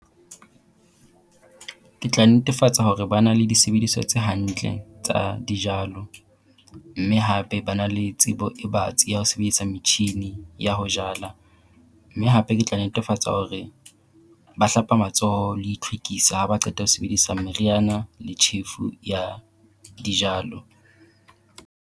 Ke tla netefatsa hore ba na le disebediswa tse hantle tsa dijalo. Mme hape ba na le tsebo e batsi ya ho sebedisa metjhini ya ho jala. Mme hape ke tla netefatsa hore ba hlapa matsoho le itlhwekisa ha ba qeta ho sebedisa meriana le tjhefu ya dijalo.